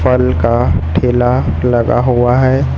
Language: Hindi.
फल का ठेला लगा हुआ है।